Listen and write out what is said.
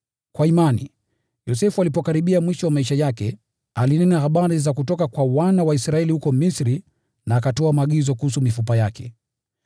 Kwa imani, Yosefu alipokaribia mwisho wa maisha yake, alinena habari za kutoka kwa wana wa Israeli huko Misri na akatoa maagizo kuhusu mifupa yake.